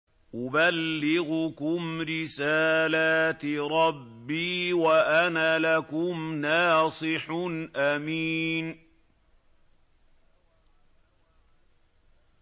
أُبَلِّغُكُمْ رِسَالَاتِ رَبِّي وَأَنَا لَكُمْ نَاصِحٌ أَمِينٌ